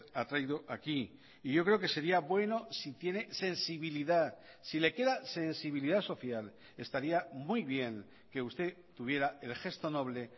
ha traído aquí y yo creo que sería bueno si tiene sensibilidad si le queda sensibilidad social estaría muy bien que usted tuviera el gesto noble